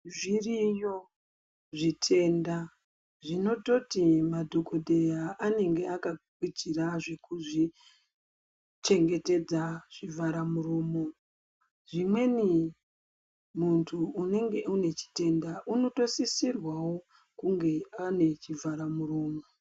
Zviriyo zvitenda zvinototi madhokodheya anenge aka gukuchira zvekuzvichengetedza zvivhara muromo zvimweni muntu unenge une chitenda unotosisirwawo kunge ane chivharamuromo.